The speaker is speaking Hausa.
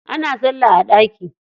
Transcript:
Ana salla a ɗaki.